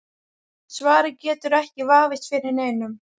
Svarið getur ekki vafist fyrir neinum.